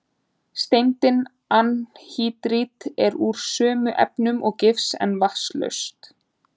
Steindin anhýdrít er úr sömu efnum og gifs, en vatnslaust.